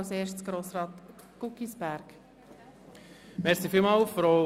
Und täglich grüsst der GEAK.